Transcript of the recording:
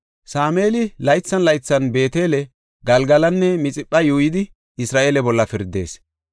Sameeli laythan laythan Beetele, Galgalanne Mixipha yuuyidi Isra7eele bolla pirdees.